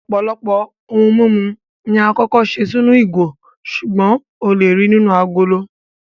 Ọ̀pọ̀lọpọ̀ ohun mímu ni àkọ́kọ́ ṣe sínú ìgò, ṣùgbọ́n o lè ríi nínú agolo